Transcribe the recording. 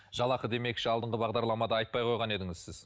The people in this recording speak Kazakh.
жалақы демекші алдыңғы бағдарламада айтпай қойған едіңіз сіз